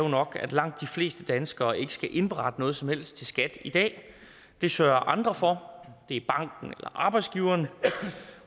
nok at langt de fleste danskere ikke skal indberette noget som helst til skat i dag det sørger andre for og det er banken eller arbejdsgiveren